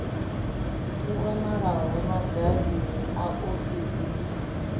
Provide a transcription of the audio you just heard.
i wanalaho madavhini a ofisii